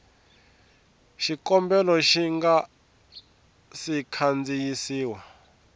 xikombelo xi nga si kandziyisiwa